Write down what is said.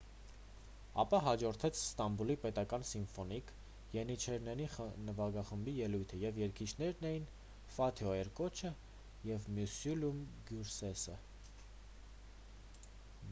ապա հաջորդեց ստամբուլի պետական սիմֆոնիկ ենիչերների նվագախմբի ելույթը և երգիչներն էին ֆաթիհ էրկոչը և մյուսլյում գյուրսեսը